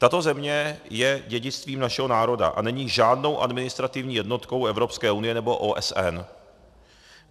Tato země je dědictvím našeho národa a není žádnou administrativní jednotkou EU nebo OSN.